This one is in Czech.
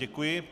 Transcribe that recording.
Děkuji.